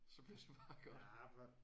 Så bliver det bare godt